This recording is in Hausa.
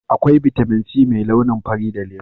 akwai Vitamin c mai launin fari da lemu